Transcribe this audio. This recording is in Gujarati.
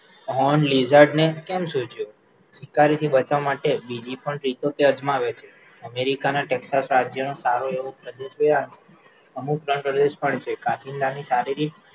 હોર્ન્ડ લિઝાર્ડ ને કેમ શું થયું તેને બતાવવા માટે બીજી પણ રીતો ધ્યાન માં આવેલી છે અમેરિકા નાં ટેક્સાસ રાજ્ય નાં સારો એવો પ્રદેશ ત્યાં અમુક નાં ઘરે પણ છે કાચીંડા ની શારીરિક